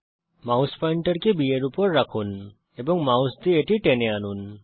mouse পয়েন্টারকে B এর উপর রাখুন এবং মাউস দিয়ে এটি টেনে আনুন